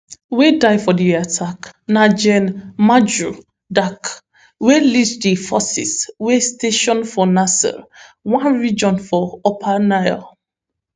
wey die for di attack na gen majur dak wey lead di forces wey station for nasir one region for upper nile